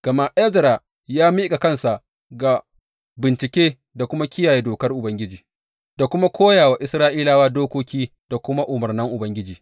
Gama Ezra ya miƙa kansa ga bincike da kuma kiyaye Dokar Ubangiji, da kuma koya wa Isra’ilawa dokoki da kuma umarnan Ubangiji.